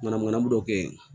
Manamana dɔ bɛ yen